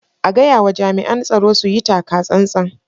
A gayawa jami'an tsaro su yi taka tsantsan.